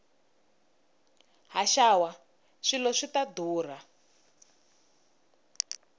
haxawa swilo swi ta ndhurha